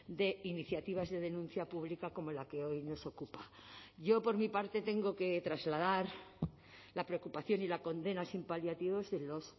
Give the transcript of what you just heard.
de iniciativas de denuncia pública como la que hoy nos ocupa yo por mi parte tengo que trasladar la preocupación y la condena sin paliativos de los